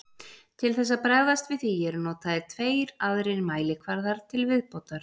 Til þess að bregðast við því eru notaðir tveir aðrir mælikvarðar til viðbótar.